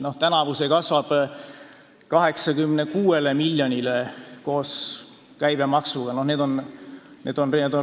See tuleb eelmise aasta tulude laekumise andmetest ja vahe prognooside erinevusest.